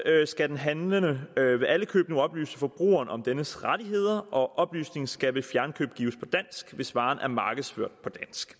skal den handlende ved alle køb nu oplyse forbrugeren om dennes rettigheder og oplysningen skal ved fjernkøb gives på dansk hvis varen er markedsført på